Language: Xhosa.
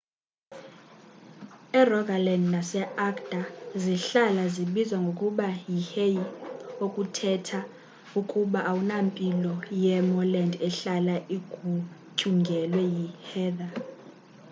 e-rogaland naseagder zihlala zibizwa ngokuba yi hei okuthetha ukuba awunampilo ye-moorland ehlala igutyungelwe yiheather